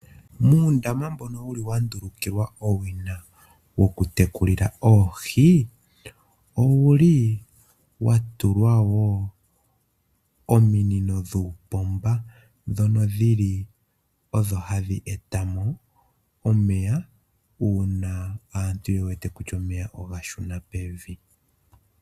Muundama mbono wuli wa ndulukilwa owina wokutekulila oohi, owuli owa tulwa wo ominino dhuupomba ndhono dhili odho hadhi eta mo omeya uuna aantu ye wete kutya omeya oga shuna pevi.